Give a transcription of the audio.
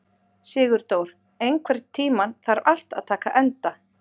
Sigurdór, einhvern tímann þarf allt að taka enda.